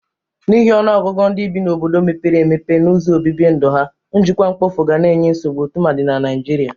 N'ihi ọnụọgụgụ ndị bi n'obodo mepere empepe na ụzọ obibi ndu ha njịkwa mkpofu ga na-enye nsogbụ tụmadị na Nịajịrịa.